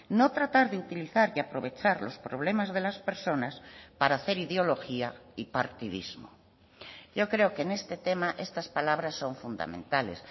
no tratar de utilizar y aprovechar los problemas de las personas para hacer ideología y partidismo yo creo que en este tema estas palabras son fundamentales